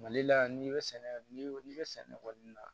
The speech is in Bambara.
Mali la n'i bɛ sɛnɛ n'i bɛ sɛnɛ kɔni na